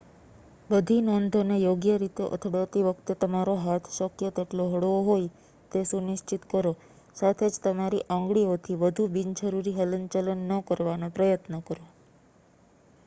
બધી નોંધોને યોગ્ય રીતે અથડાતી વખતે તમારો હાથ શક્ય તેટલો હળવો હોય તે સુનિશ્ચિત કરો સાથે જ તમારી આંગળીઓથી વધુ બિનજરૂરી હલનચલન ન કરવાનો પ્રયત્ન કરો